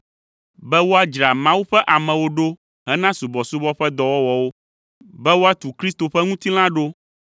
be woadzra Mawu ƒe amewo ɖo hena subɔsubɔ ƒe dɔwɔwɔwo, be woatu Kristo ƒe ŋutilã ɖo